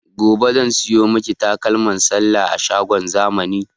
Gobe zan siyo miki takalman sallah a shagon zamani